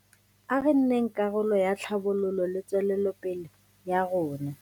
A re nneng karolo ya tlhabololo le tswelopele ya rona.